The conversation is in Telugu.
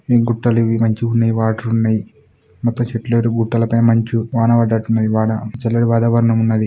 ఈ గుట్టలు ఇవి మంచిగా ఉన్నాయి వాటర్ ఉన్నాయి మొత్తం చెట్లు గుట్టల పైన మంచు వాన పడ్డట్టు ఉన్నది బాగా చల్లటి వాతావరణం ఉన్నది.